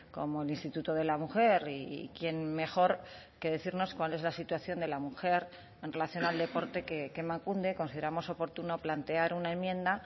como el instituto de la mujer y quién mejor que decirnos cuál es la situación de la mujer en relación al deporte que emakunde consideramos oportuno plantear una enmienda